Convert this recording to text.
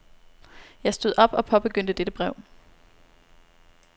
Jeg stod op og påbegyndte dette brev.